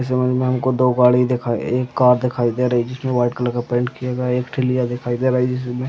इस इमेज में हम दो गाड़ी दिखाई एक कार दिखाई दे रही है जिसमे में वाइट कलर का पैन्ट किया गया है एक ठिलया दिखाए दे रहा है जिसमे--